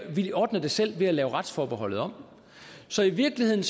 vi ordner det selv ved at lave retsforbeholdet om så i virkeligheden